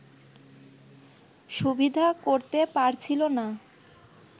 সুবিধা করতে পারছিল না